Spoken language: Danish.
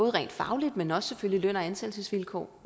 rent fagligt men også selvfølgelig løn og ansættelsesvilkår